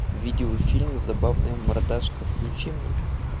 видеофильм забавная мордашка включи мне